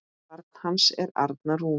Barn hans er Arna Rún.